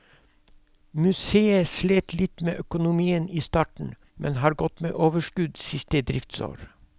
Museet slet litt med økonomien i starten, men har gått med overskudd siste driftsår.